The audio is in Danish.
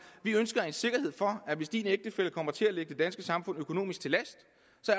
vi ønsker sikkerhed for at hvis din ægtefælle kommer til at ligge det danske samfund økonomisk til last